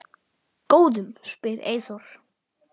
Góðum? spyr Eyþór.